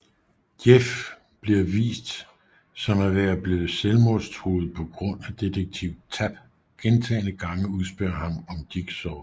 Jeff bliver vist som at være blevet selvmordstruet på grund af Detektiv Tapp gentagne gange udspørger ham om Jigsaw